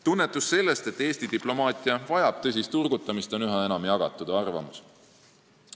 Tunnetus sellest, et Eesti diplomaatia vajab tõsist turgutamist, on üha enam jagatud arvamus.